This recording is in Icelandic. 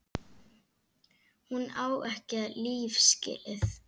Hún á ekki líf skilið.